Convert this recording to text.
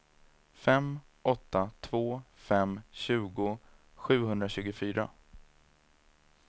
fem åtta två fem tjugo sjuhundratjugofyra